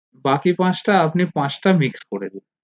বাকি পাঁচটা আপনি পাঁচটা mix করে দিন